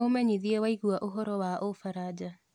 umenyĩthĩe waigwaũhoro wa ufaraja